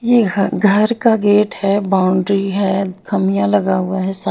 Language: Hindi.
यह घर का गेट है बाउंड्री है खमिया लगा हुआ है सा--